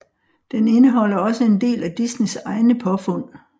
Den indeholder også en del af Disneys egne påfund